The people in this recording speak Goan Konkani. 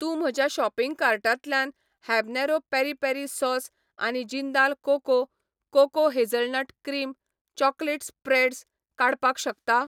तूं म्हज्या शॉपिंग कार्टांतल्यान हॅबनेरो पेरी पेरी सॉस आनी Jindal coco coco hazelnut cream chocolate spreads काडपाक शकता?